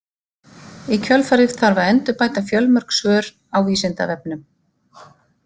Í kjölfarið þarf að endurbæta fjölmörg svör á Vísindavefnum.